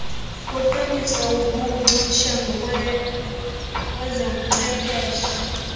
kuqiniswe ubuncutshe kwezobuchwepheshe